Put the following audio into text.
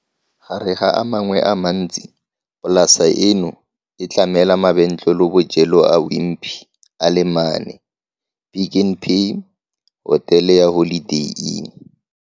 Gare ga a mangwe a mantsi, polasa eno e tlamela mabentlelebojelo a Wimpy a le mane, Pick n Pay, hotele ya Holiday Inn